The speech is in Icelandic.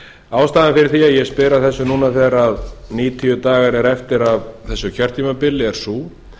ástæðan fyrir því að ég spyr að þessu núna þegar níutíu dagar eru eftir af þessu kjörtímabili er sú